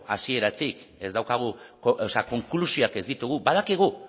hasieratik ez daukagu o sea konklusioak ez ditugu badakigu